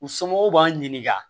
U somɔgɔw b'an ɲininka